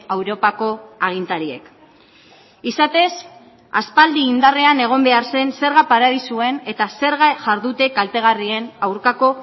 europako agintariek izatez aspaldi indarrean egon behar zen zerga paradisuen eta zerga jardute kaltegarrien aurkako